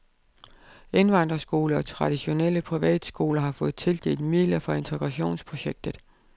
Indvandrerskoler og traditionelle privatskoler har fået tildelt midler fra integrationsprojektet